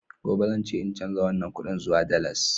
Gobe zan je in canza wannan kudin zuwa dalas